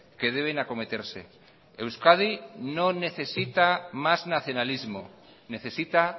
que deben acometerse euskadi no necesita más nacionalismo necesita